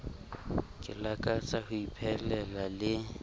ke lakatsang ho iphelela le